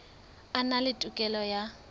a na le tokelo ya